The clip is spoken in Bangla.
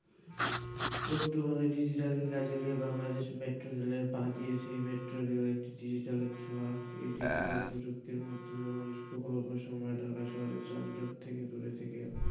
বর্তমানে digital কে কাজে লাগিয়ে বাংলাদেশ মেট্রো রেলে পা দিয়েছেএই মেট্রোরেল digital র ছোঁয়াএই digital প্রযুক্তির মাধ্যমে মানুষ খুব অল্প সময়ে ঢাকা শহরের জামজাট থেকেও দূরে,